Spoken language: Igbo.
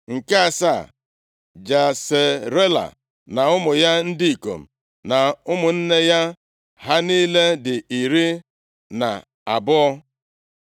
Nke asaa, Jesarela na ụmụ ya ndị ikom na ụmụnne ya. Ha niile dị iri na abụọ (12).